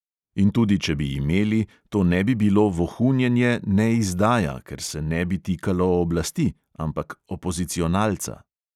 In tudi če bi imeli, to ne bi bilo vohunjenje ne izdaja, ker se ne bi tikalo oblasti, ampak opozicionalca.